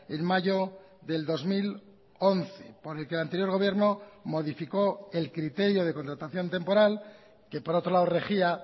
en mayo del dos mil once por el que el anterior gobierno modificó el criterio de contratación temporal que por otro lado regía